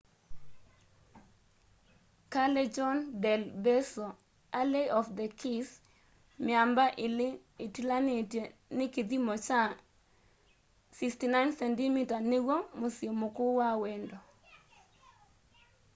callejon del beso alley of the kĩss. mĩamba ĩlĩ ĩtĩlanĩtwe nĩ kĩthĩmo kya 69cm nĩw'o mũsyĩ mũkũũ wa wendo